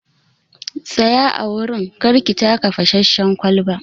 Tsaya a wurin!kar ki taka fasasshen kwalban.